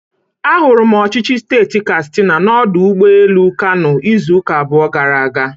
Ahụrụ m ọchịchị steeti katsina n'ọdụ ụgbọ elu Kano izuụka abụọ gara aga.